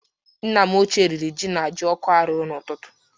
Nna m ochie riri jí na jioko a rụrụ n'ụtụtụ.